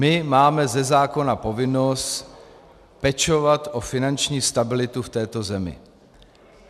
My máme ze zákona povinnost pečovat o finanční stabilitu v této zemi.